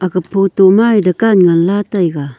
gapu tu ma dukan ngan la taega.